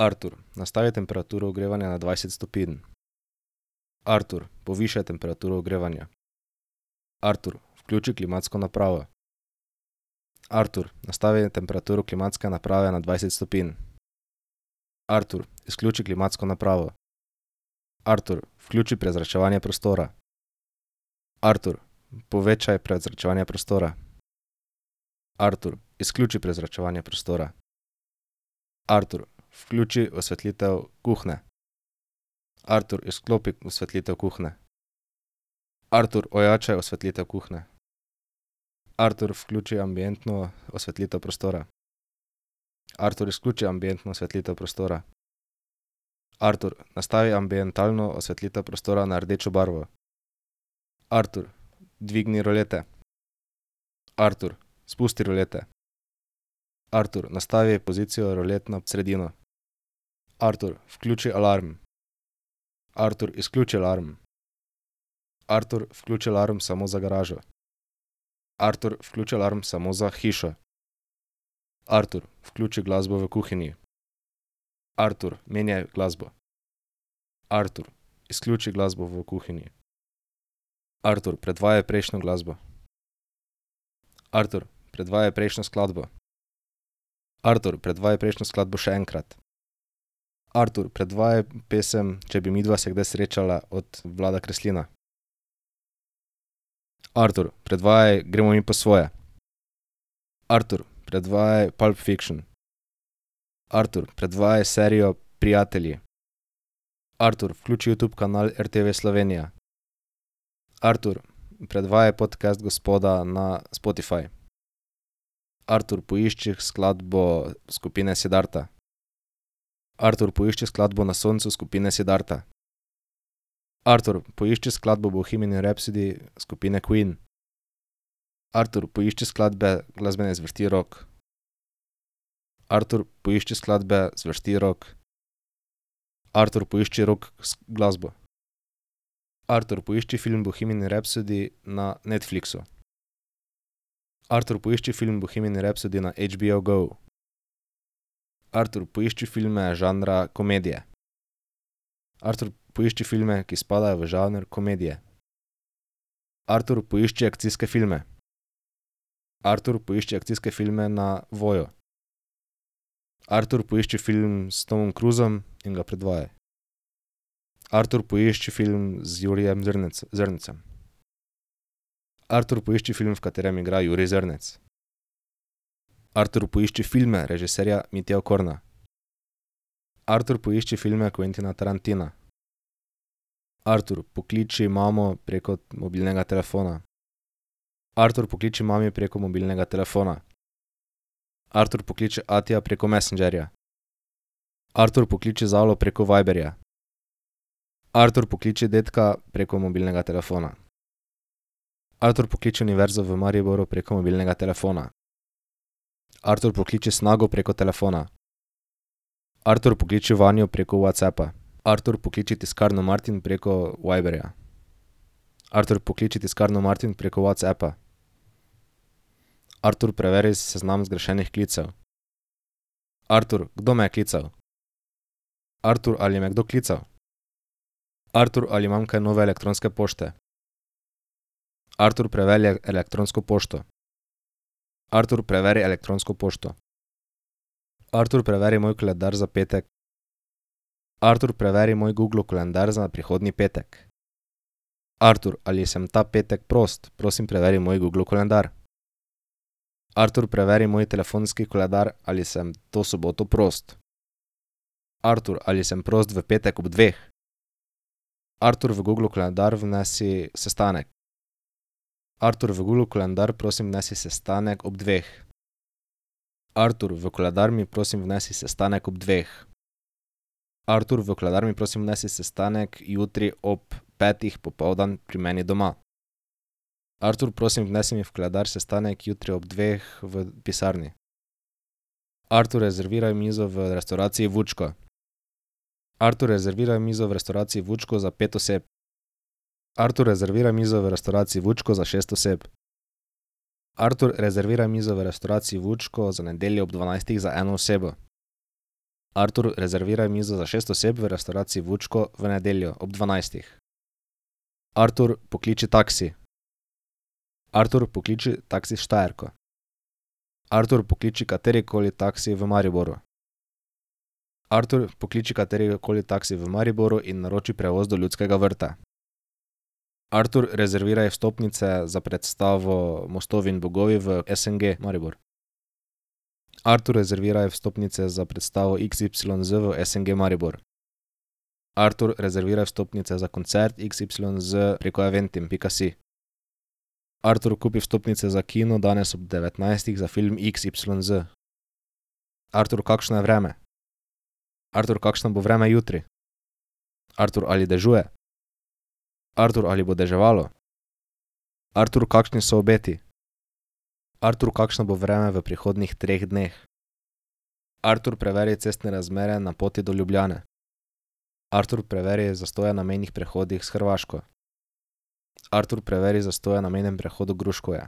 Artur, nastavi temperaturo ogrevanja na dvajset stopinj. Artur, povišaj temperaturo ogrevanja. Artur, vključi klimatsko napravo. Artur, nastavi temperaturo klimatske naprave na dvajset stopinj. Artur, izključi klimatsko napravo. Artur, vključi prezračevanje prostora. Artur, povečaj prezračevanje prostora. Artur, izključi prezračevanje prostora. Artur, vključi osvetlitev kuhinje. Artur, izklopi osvetlitev kuhinje. Artur, ojačaj osvetlitev kuhinje. Artur, vključi ambientno osvetlitev prostora. Artur, izključi ambientno osvetlitev prostora. Artur, nastavi ambientalno osvetlitev prostora na rdečo barvo. Artur, dvigni rulete. Artur, spusti rulete. Artur, nastavi pozicijo rulet na sredino. Artur, vključi alarm. Artur, izključi alarm. Artur, vključi alarm samo za garažo. Artur, vključi alarm samo za hišo. Artur, vključi glasbo v kuhinji. Artur, menjaj glasbo. Artur, izključi glasbo v kuhinji. Artur, predvajaj prejšnjo glasbo. Artur, predvajaj prejšnjo skladbo. Artur, predvajaj prejšnjo skladbo še enkrat. Artur, predvajaj pesem Če bi midva se kdaj srečala od Vlada Kreslina. Artur, predvajaj Gremo mi po svoje. Artur, predvajaj Pulp Fiction. Artur, predvajaj serijo Prijatelji. Artur, vključi Youtube kanal RTV Slovenija. Artur, predvajaj podcast Gospoda na Spotify. Artur, poišči skladbo skupine Siddharta. Artur, poišči skladbo Na soncu skupine Siddharta. Artur, poišči skladbo Bohemian Rhapsody skupine Queen. Artur, poišči skladbe glasbene zvrsti rock. Artur, poišči skladbe zvrsti rock. Artur, poišči rock glasbo. Artur, poišči film Bohemian Rhapsody na Netflixu. Artur, poišči film Bohemian Rhapsody ne HBO GO. Artur, poišči filme žanra komedije. Artur, poišči filme, ki spadajo v žanr komedije. Artur, poišči akcijske filme. Artur, poišči akcijske filme na Voyu. Artur, poišči film s Tomom Cruisom in ga predvajaj. Artur, poišči film z Jurijem Zrnecem. Artur, poišči film, v katerem igra Jurij Zrnec. Artur, poišči filme režiserja Mitja Okorna. Artur, poišči filme Quentina Tarantina. Artur, pokliči mamo preko mobilnega telefona. Artur, pokliči mami preko mobilnega telefona. Artur, pokliči atija preko Messengerja. Artur, pokliči Zalo preko Viberja. Artur, pokliči dedka preko mobilnega telefona. Artur, pokliči Univerzo v Mariboru preko mobilnega telefona. Artur, pokliči Snago preko telefona. Artur, pokliči Vanjo preko WhatsAppa. Artur, pokliči tiskarno Martin preko Viberja. Artur, pokliči tiskarno Martin preko WhatsAppa. Artur, preveri seznam zgrešenih klicev. Artur, kdo me je klical? Artur, ali me je kdo klical? Artur, ali imam kaj nove elektronske pošte? Artur, preverjaj elektronsko pošto. Artur, preveri elektronsko pošto. Artur, preveri moj koledar za petek. Artur, preveri moj Googlov koledar za prihodnji petek. Artur, ali sem ta petek prost? Prosim, preveri moj Googlov koledar. Artur, preveri moj telefonski koledar, ali sem to soboto prost. Artur, ali sem prost v petek ob dveh? Artur, v Googlov koledar vnesi sestanek. Artur, v Googlov koledar prosim vnesi sestanek ob dveh. Artur, v koledar mi, prosim, vnesi sestanek ob dveh. Artur, v koledar mi, prosim, vnesi sestanek jutri ob petih popoldan pri meni doma. Artur, prosim, vnesi mi v koledar sestanek jutri ob dveh v pisarni. Artur, rezerviraj mizo v restavraciji Vučko. Artur, rezerviraj mizo v restavraciji Vučko za pet oseb. Artur, rezerviraj mizo v restavraciji Vučko za šest oseb. Artur, rezerviraj mizo v restavraciji Vučko za nedeljo ob dvanajstih za eno osebo. Artur, rezerviraj mizo za šest oseb v restavraciji Vučko v nedeljo ob dvanajstih. Artur, pokliči taksi. Artur, pokliči Taksi Štajerko. Artur, pokliči katerikoli taksi v Mariboru. Artur, pokliči katerikoli taksi v Mariboru in naroči prevoz do Ljudskega vrta. Artur, rezerviraj vstopnice za predstavo Mostovi in bogovi v SNG Maribor. Artur, rezerviraj vstopnice za predstavo XYZ v SNG Maribor. Artur, rezerviraj vstopnice za koncert XYZ preko eventim pika si. Artur, kupi vstopnice za kino danes ob devetnajstih za film XYZ. Artur, kakšno je vreme? Artur, kakšno bo vreme jutri? Artur, ali dežuje? Artur, ali bo deževalo? Artur, kakšni so obeti? Artur, kakšno bo vreme v prihodnjih treh dneh? Artur, preveri cestne razmere na poti do Ljubljane. Artur, preveri zastoje na mejnih prehodih s Hrvaško. Artur, preveri zastoje na mejnem prehodu Gruškovje.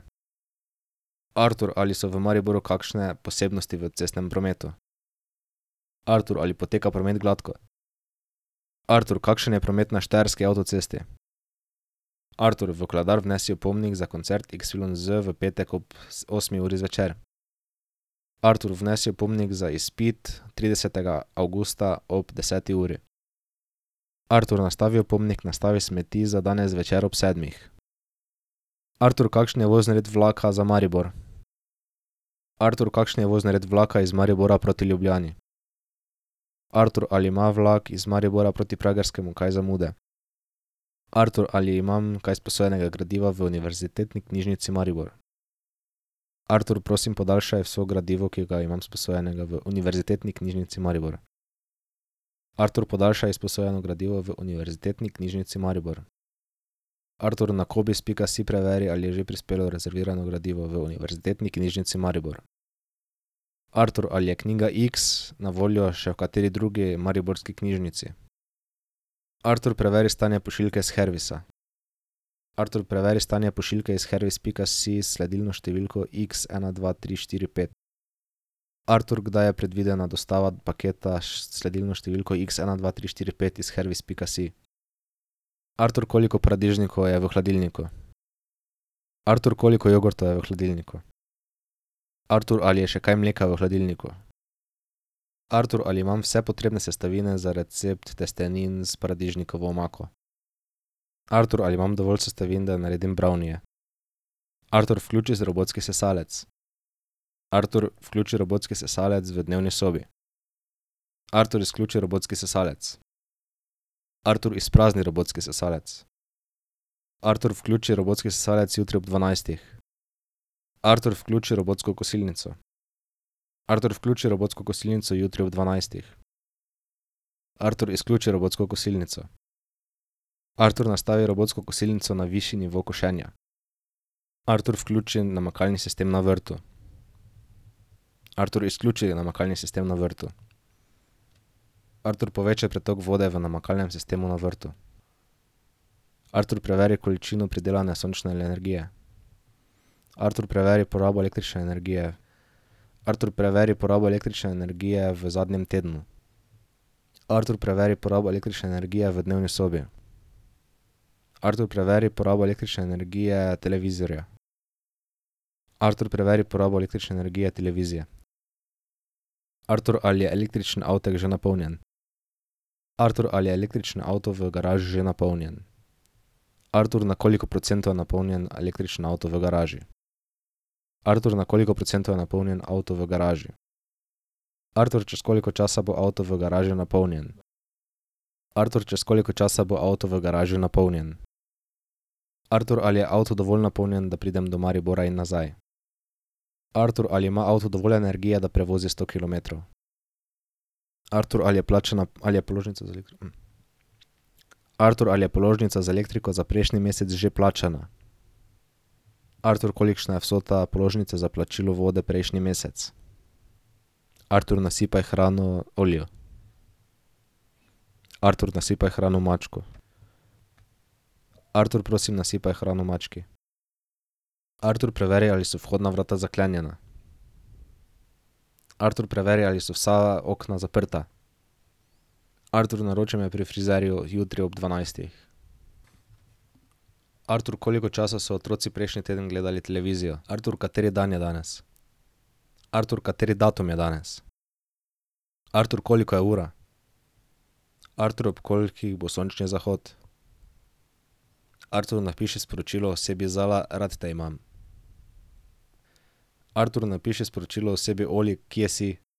Artur, ali so v Mariboru kakšne posebnosti v cestnem prometu? Artur, ali poteka promet gladko? Artur, kakšen je promet na štajerski avtocesti? Artur, v koledar vnesi opomnik za koncert XYZ v petek ob osmi uri zvečer. Artur, vnesi opomnik za izpit tridesetega avgusta ob deseti uri. Artur, nastavi opomnik: nastavi smeti za danes zvečer ob sedmih. Artur, kakšen je vozni red vlaka za Maribor? Artur, kakšni je vozni red vlaka iz Maribora proti Ljubljani? Artur, ali ima vlak iz Maribora proti Pragerskemu kaj zamude? Artur, ali imam kaj izposojenega gradiva v Univerzitetni knjižnici Maribor? Artur, prosim, podaljšaj vse gradivo, ki ga imam sposojenega v Univerzitetni knjižnici Maribor. Artur, podaljšaj izposojeno gradivo v Univerzitetni knjižnici Maribor. Artur, na cobiss pika si preveri, ali je že prispelo rezervirano gradivo v Univerzitetni knjižnici Maribor. Artur, ali je knjiga X na voljo še v kateri drugi mariborski knjižnici? Artur, preveri stanje pošiljke s Hervisa. Artur, preveri stanje pošiljke iz hervis pika si s sledilno številko X ena, dva, tri, štiri, pet. Artur, kdaj je predvidena dostava paketa s sledilno številko X ena, dva, tri, štiri, pet iz hervis pika si. Artur, koliko paradižnikov je v hladilniku? Artur, koliko jogurtov je v hladilniku? Artur, ali je še kaj mleka v hladilniku? Artur, ali imam vse potrebne sestavine za recept testenin s paradižnikovo omako? Artur, ali imam dovolj sestavin, da naredim brownieje? Artur, vključi robotski sesalec. Artur, vključi robotski sesalec v dnevni sobi. Artur, izključi robotski sesalec. Artur, izprazni robotski sesalec. Artur, vključi robotski sesalec jutri ob dvanajstih. Artur, vključi robotsko kosilnico. Artur, vključi robotsko kosilnico jutri ob dvanajstih. Artur, izključi robotsko kosilnico. Artur, nastavi robotsko kosilnico na višji nivo košenja. Artur, vključi namakalni sistem na vrtu. Artur, izključi namakalni sistem na vrtu. Artur, povečaj pretok vode v namakalnem sistemu na vrtu. Artur, preveri količino pridelane sončne energije. Artur, preveri porabo električne energije. Artur, preveri porabo električne energije v zadnjem tednu. Artur, preveri porabo električne energije v dnevni sobi. Artur, preveri porabo električne energije televizorja. Artur, preveri porabo električne energije televizije. Artur, ali je električni avtek že napolnjen? Artur, ali je električni avto v garaži že napolnjen? Artur, na koliko procentov je napolnjen električni avto v garaži? Artur, na koliko procentov je napolnjen avto v garaži? Artur, čez koliko časa bo avto v garaži napolnjen? Artur, čez koliko časa bo avto v garaži napolnjen? Artur, ali je avto dovolj napolnjen, da pridem do Maribora in nazaj? Artur, ali ima avto dovolj energije, da prevozi sto kilometrov? Artur, ali je plačana, ali je položnica ... Artur, ali je položnica za elektriko za prejšnji mesec že plačana? Artur, kolikšna je vsota položnice za plačilo vode prejšnji mesec? Artur, nasipaj hrano Oliju. Artur, nasipaj hrano mačku. Artur, prosim, nasipaj hrano mački. Artur, preveri, ali so vhodna vrata zaklenjena. Artur, preveri, ali so vsa okna zaprta. Artur, naroči me pri frizerju jutri ob dvanajstih. Artur, koliko časa so otroci prejšnji teden gledali televizijo. Artur, kateri dan je danes? Artur, kateri datum je danes? Artur, koliko je ura? Artur, ob kolikih bo sončni zahod? Artur, napiši sporočilo osebi Zala: "Rad te imam." Artur, napiši sporočilo osebi Oli: "Kje si?"